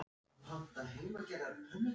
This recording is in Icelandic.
Hann frétti að hún hefði flutt til